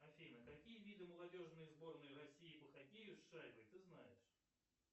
афина какие виды молодежной сборной россии по хоккею с шайбой ты знаешь